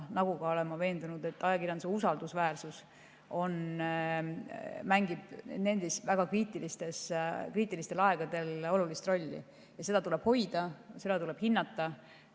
Samamoodi olen ma veendunud, et ajakirjanduse usaldusväärsus mängib nendel väga kriitilistel aegadel olulist rolli ja seda tuleb hoida, seda tuleb hinnata.